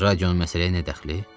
Radionun məsələyə nə dəxli?